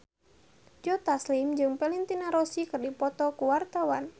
Joe Taslim jeung Valentino Rossi keur dipoto ku wartawan